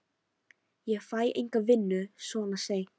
Ég fæ enga vinnu svona seint.